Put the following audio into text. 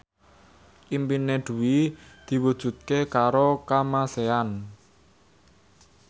impine Dwi diwujudke karo Kamasean